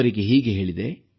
ಅವರಿಗೆ ಹೀಗೆ ಹೇಳಿದೆ